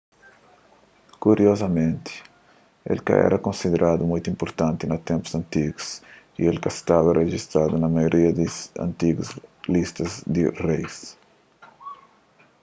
kuriozamenti el é ka éra konsideradu mutu inpurtanti na ténpus antigu y el ka staba rejistadu na maioria di antigu listas di reis